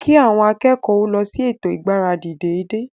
Kí àwọn akẹ́kọ̀ọ́ o lọ sí ètò ìgbáradì dédé